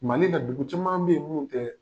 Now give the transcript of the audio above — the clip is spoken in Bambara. Mali la dugu caman be yen munun tɛ